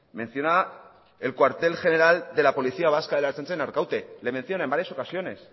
menciona el cuartel general de la policía vasca de la ertzaintza en arkaute le menciona en varias ocasiones